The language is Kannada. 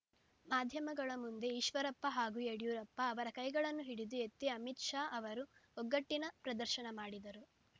ಮಾಧ್ಯಮಗಳ ಮುಂದೆ ಈಶ್ವರಪ್ಪ ಹಾಗೂ ಯಡಿಯೂರಪ್ಪ ಅವರ ಕೈಗಳನ್ನು ಹಿಡಿದು ಎತ್ತಿ ಅಮಿತ್‌ ಶಾ ಅವರು ಒಗ್ಗಟ್ಟಿನ ಪ್ರದರ್ಶನ ಮಾಡಿದರು